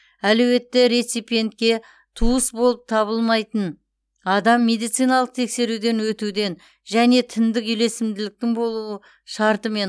әлеуетті реципентке туыс болып табылмайтын адам медициналық тексеруден өтуден және тіндік үйлесімділіктің болуы шартымен